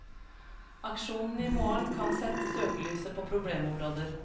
Aksjonen i morgen kan sette søkelyset på problemområder.